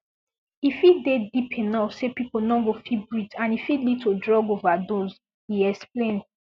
e fit dey deep enough say pipo no go fit breathe and e fit lead to drug overdose e explain